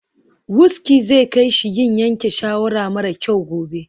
Wuski zai kai shi yin yanke shawara mara kyau gobe.